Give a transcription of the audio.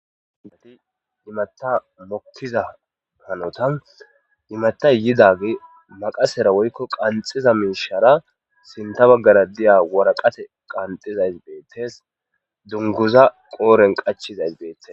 andati imatta mokkiza hanotan imatta yidagi maqasera woykko qanxiza minshara sinta baggara diya woraqate qanxizay deettes dunguza qooren qachizays deettes